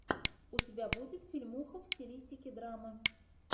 у тебя будет фильмуха в стилистике драма